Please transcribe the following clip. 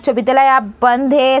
सभी ताला यहाँ बंद है |